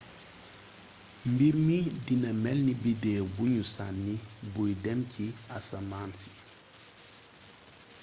mbirmi dina mélni biddéw bugnu sanni buy dém ci asamaansi